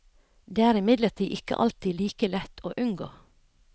Det er imidlertid ikke alltid like lett å unngå.